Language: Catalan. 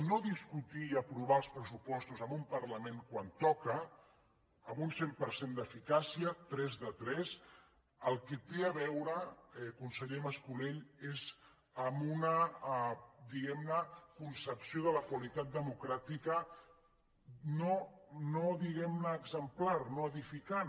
no discutir i aprovar els pressupostos en un parlament quan toca amb un cent per cent d’eficàcia tres de tres amb el que té a veure conseller mas colell és amb una diguem ne concepció de la qualitat democràtica no exemplar no edificant